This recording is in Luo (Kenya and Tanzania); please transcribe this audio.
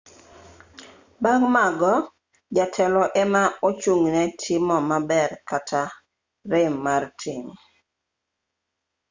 bang' mago jatelo ema ochung'ne timo maber kata rem mar tim